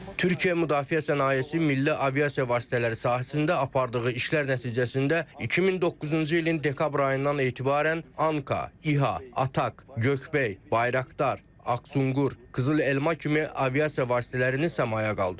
Türkiyə Müdafiə Sənayesi Milli Aviasiya Vasitələri sahəsində apardığı işlər nəticəsində 2009-cu ilin dekabr ayından etibarən ANKA, İHA, ATAK, Göyebey, Bayraktar, Aksungur, Qızıl alma kimi aviasiya vasitələrini səmaya qaldırıb.